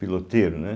piloteiro, né?